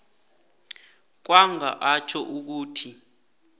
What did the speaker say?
kwanga atjho ukuthi